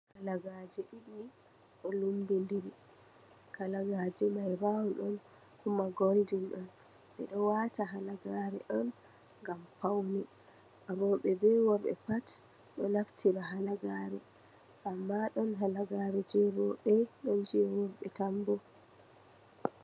Halagaaje ɗiɗi ɗon lummbindiri, halagaje mai rawon ɗon kuma goldin ɗon, ɓeɗon wata halagaare on ngam pawne, rewɓe bee worɓe pat ɗon naftira halagaare, amma ɗon halagaare jei rewɓe ɗon je worɓe tan bo.